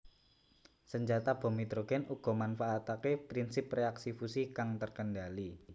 Senjata bom hidrogen uga manfaatake prinsip reaksi fusi kang terkendali